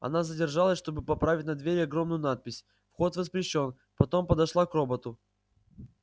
она задержалась чтобы поправить на двери огромную надпись вход воспрещён потом подошла к роботу